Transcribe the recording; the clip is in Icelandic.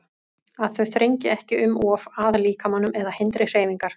Að þau þrengi ekki um of að líkamanum eða hindri hreyfingar.